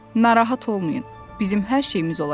Narahat olmayın, bizim hər şeyimiz olacaq.